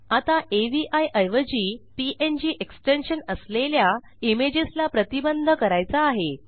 आता अवी ऐवजी पीएनजी एक्सटेन्शन असलेल्या इमेजेस ला प्रतिबंध करायचा आहे